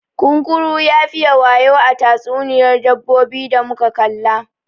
Kunkuru ya fiye wayau a tatsuniyar dabbobi da muka kalla.